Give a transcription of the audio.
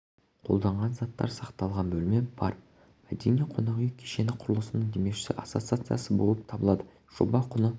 мұражайда екі экспозициялық зал сурет галереясы мен ұлы ойшылдың бай әдеби тарихи мұрасы және көзі тірісінде